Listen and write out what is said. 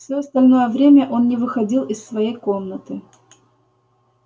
всё остальное время он не выходил из своей комнаты